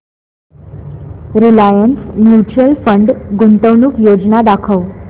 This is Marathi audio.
रिलायन्स म्यूचुअल फंड गुंतवणूक योजना दाखव